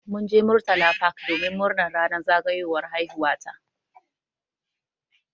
Mun je murtala park domin murnar ranar zagayowar haihuwa ta.